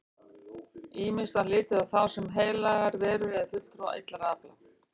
Ýmist var litið á þá sem heilagar verur eða fulltrúa illra afla.